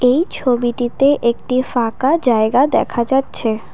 এই ছবিটিতে একটি ফাঁকা জায়গা দেখা যাচ্ছে ।